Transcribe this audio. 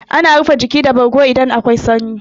Ana rufe jiki da bargo idan akwai sanyi.